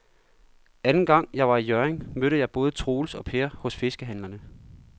Anden gang jeg var i Hjørring, mødte jeg både Troels og Per hos fiskehandlerne.